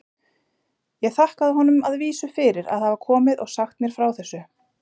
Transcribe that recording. Ég þakkaði honum að vísu fyrir að hafa komið og sagt mér frá þessu.